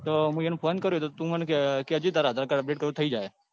તો મુ એમને phone કર્યો તો તું મન કેજે તો તાર આધાર card રવું હોય તો તો થઇ જશે.